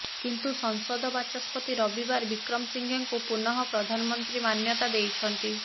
କିନ୍ତୁ ସଂସଦ ବାଚସ୍ପତି ରବିବାର ବିକ୍ରମସିଙ୍ଘେଙ୍କୁ ପୁନଃ ପ୍ରଧାନମନ୍ତ୍ରୀ ମାନ୍ୟତା ଦେଇଛନ୍ତି